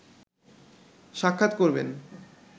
সাক্ষাৎ করবেন